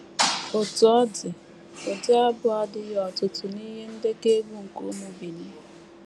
Otú ọ dị, ụdị abụ a adịghị ọtụtụ n’ihe ndekọ egwú nke ụmụ Benin.